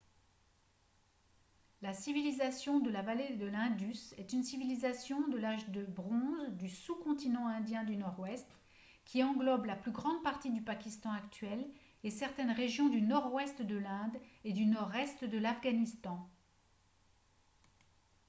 la civilisation de la vallée de l'indus est une civilisation de l'âge de bronze du sous-continent indien du nord-ouest qui englobe la plus grande partie du pakistan actuel et certaines régions du nord-ouest de l'inde et du nord-est de l'afghanistan